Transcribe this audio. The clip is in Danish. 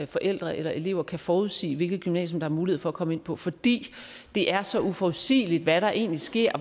forældre eller elever kan forudsige hvilket gymnasium der er mulighed for at komme ind på fordi det er så uforudsigeligt hvad der egentlig sker